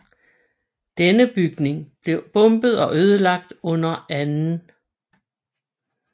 Denne bygning blev bombet og ødelagt under 2